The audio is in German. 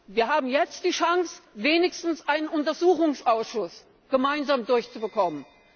Wir haben jetzt die Chance, wenigstens einen Untersuchungsausschuss gemeinsam durchzubekommen.